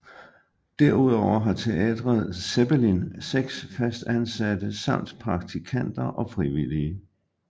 Derudover har Teatret Zeppelin seks fastansatte samt praktikanter og frivillige